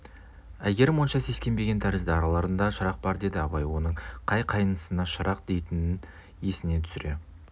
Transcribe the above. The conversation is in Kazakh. әйгерім онша сескенбеген тәрізді араларында шырақ бар деді абай оның қай қайнысын шырақ дейтінін есіне түсіре